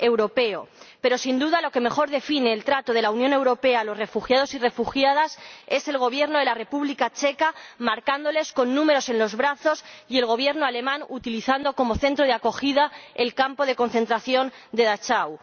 Pero, sin duda, lo que mejor define el trato de la Unión Europea a los refugiados y refugiadas es el Gobierno de la República Checa, marcándolos con números en los brazos, y el Gobierno alemán, utilizando como centro de acogida el campo de concentración de Dachau.